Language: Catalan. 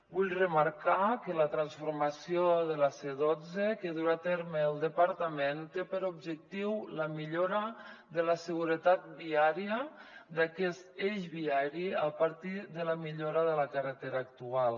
vull remarcar que la transformació de la c·dotze que durà a terme el departament té per objectiu la millora de la seguretat viària d’aquest eix viari a partir de la millo·ra de la carretera actual